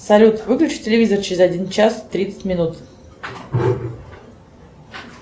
салют выключи телевизор через один час тридцать минут